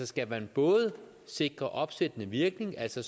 skal man både sikre opsættende virkning altså